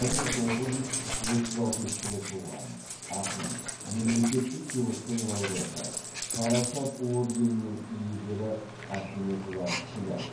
бір мың тоғыз жүз отыз алтыншы жылы туған ақын мемлекеттік сыйлықтың лауреаты парасат орденінің иегері ахметова күләш